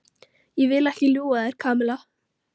Ég vil ekki ljúga að þér, Kamilla.